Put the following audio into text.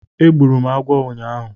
Egburu m agwọ ụnyaahụ